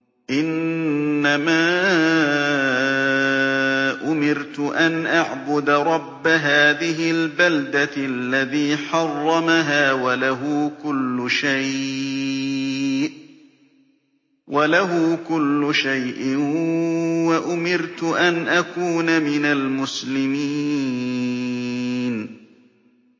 إِنَّمَا أُمِرْتُ أَنْ أَعْبُدَ رَبَّ هَٰذِهِ الْبَلْدَةِ الَّذِي حَرَّمَهَا وَلَهُ كُلُّ شَيْءٍ ۖ وَأُمِرْتُ أَنْ أَكُونَ مِنَ الْمُسْلِمِينَ